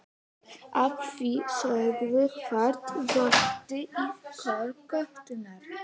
Að því sögðu hvarf röddin í kór götunnar.